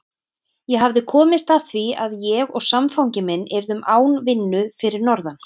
Ég hafði komist að því að ég og samfangi minn yrðum án vinnu fyrir norðan.